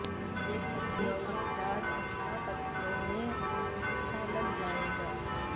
ایک پتلی افراد اکٹھا پتلون میں اچھا لگ جائے گا